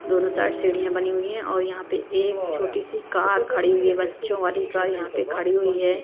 दोनों साइड सीढ़ियाँ बनी हुई हैं और यहाँ पे एक छोटी सी कार खड़ी हुई है बच्चों वाली कार यहाँ पे खड़ी हुई है।